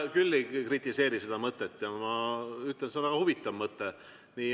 Mina küll ei kritiseeri seda mõtet ja ma ütlen, et see on väga huvitav mõte.